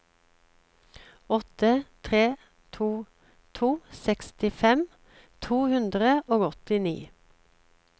åtte tre to to sekstifem to hundre og åttini